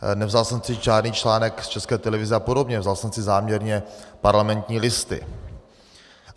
Nevzal jsem si žádný článek z České televize a podobně, vzal jsem si záměrně Parlamentní listy.